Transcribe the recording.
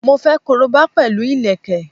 Mo fẹ́ koroba pẹ̀lú ìlẹ̀kẹ̀